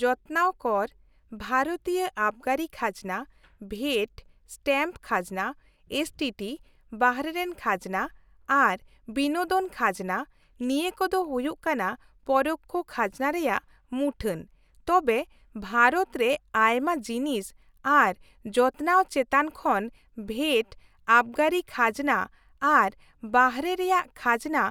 -ᱡᱚᱛᱱᱟᱣ ᱠᱚᱨ, ᱵᱷᱟᱨᱚᱛᱤᱭᱟᱹ ᱟᱵᱜᱟᱹᱨᱤ ᱠᱷᱟᱡᱱᱟ, ᱵᱷᱮᱴ, ᱥᱴᱮᱢᱯ ᱠᱷᱟᱡᱱᱟ, ᱮᱥᱴᱤᱴᱤ, ᱵᱟᱦᱨᱮᱱ ᱠᱷᱟᱡᱱᱟ ᱟᱨ ᱵᱤᱱᱳᱫᱚᱱ ᱠᱷᱟᱡᱱᱟ, ᱱᱤᱭᱟᱹ ᱠᱚᱫᱚ ᱦᱩᱭᱩᱜ ᱠᱟᱱᱟ ᱯᱚᱨᱳᱠᱠᱷᱚ ᱠᱷᱟᱡᱱᱟ ᱨᱮᱭᱟᱜ ᱢᱩᱴᱷᱟᱹᱱ, ᱛᱚᱵᱮ ᱵᱷᱟᱨᱚᱛ ᱨᱮ ᱟᱭᱢᱟ ᱡᱤᱱᱤᱥ ᱟᱨ ᱡᱚᱛᱱᱟᱣ ᱪᱮᱛᱟᱱ ᱠᱷᱚᱱ ᱵᱷᱮᱴ, ᱟᱵᱜᱟᱹᱨᱤ ᱠᱷᱟᱡᱱᱟ ᱟᱨ ᱵᱟᱦᱨᱮ ᱨᱮᱭᱟᱜ ᱠᱷᱟᱡᱱᱟ